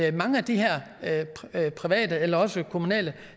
her private eller også kommunale